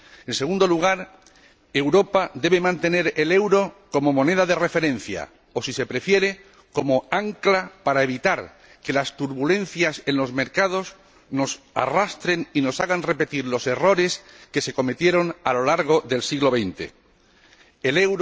en segundo lugar, Europa debe mantener el euro como moneda de referencia o, si se prefiere, como ancla, para evitar que las turbulencias en los mercados nos arrastren y nos hagan repetir los errores que se cometieron a lo largo del siglo XX